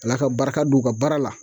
Ala ka barika don u ka baara la